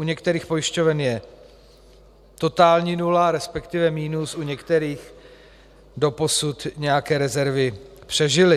U některých pojišťoven je totální nula, respektive minus, u některých doposud nějaké rezervy přežily.